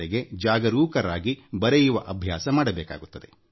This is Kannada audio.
ನಾವು ದೀರ್ಘಕಾಲ ಅದನ್ನು ಅಭ್ಯಾಸ ಮಾಡಬೇಕಾಗುತ್ತದೆ